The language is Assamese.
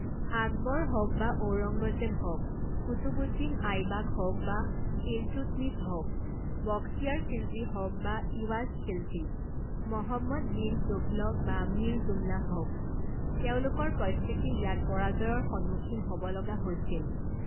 আকবৰ হওক বা ঔৰঙ্গজেব হওক, কুতবুদ্দিন আইবাক হওক বা ইলতুৎমিছ হওক, বখতিয়াৰ খিলজী হওক বা ইৱাজ খিলজী, মহম্মদ বিন টোঘলক বা মীৰ জুমলা হওক, তেওঁলোকৰ প্ৰত্যেকেই ইয়াত পৰাজয়ৰ সন্মুখীন হ’ব লগা হৈছিল।